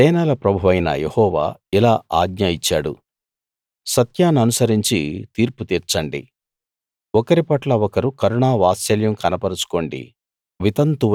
సేనల ప్రభువైన యెహోవా ఇలా ఆజ్ఞ ఇచ్చాడు సత్యాన్ననుసరించి తీర్పు తీర్చండి ఒకరిపట్ల ఒకరు కరుణా వాత్సల్యం కనపరచుకోండి